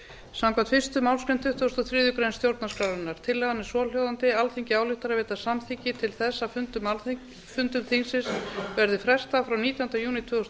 samkvæmt fyrstu málsgrein tuttugustu og þriðju grein stjórnarskrárinnar tillagan er svohljóðandi alþingi ályktar að veita samþykki til þess að fundum þingsins verði frestað frá nítjánda júní tvö þúsund